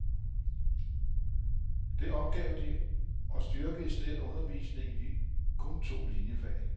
Det opgav de og styrkede i stedet undervisningen i de kun to liniefag.